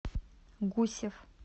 гусев